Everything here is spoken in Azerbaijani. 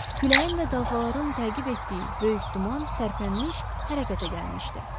Küləyin və dalğaların təqib etdiyi böyük duman tərpənmiş, hərəkətə gəlmişdi.